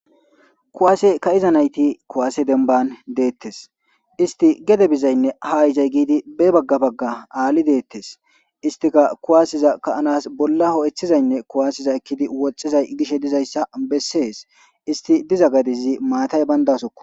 kuwaase ka7iza nayti kuwaase denban deettes isti gede bizaynne ha izay giidi be bagga bagga aali deettes istika kuwaasiza ka7anas bolla ho7eththizaynne kuwaasiza ekkidi woxxizay gishe dizayssa bessees isti diza gadizi maatay bayndasokko